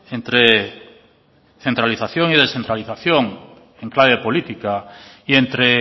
entre centralización y descentralización en clave política y entre